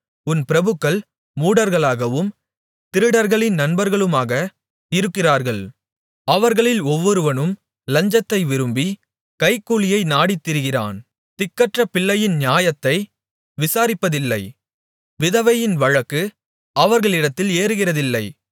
உன் பிரபுக்கள் முரடர்களாகவும் திருடர்களின் நண்பர்களுமாக இருக்கிறார்கள் அவர்களில் ஒவ்வொருவனும் லஞ்சத்தை விரும்பி கைக்கூலியை நாடித்திரிகிறான் திக்கற்ற பிள்ளையின் நியாயத்தை விசாரிப்பதில்லை விதவையின் வழக்கு அவர்களிடத்தில் ஏறுகிறதில்லை